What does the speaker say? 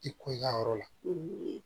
I ko i ya yɔrɔ la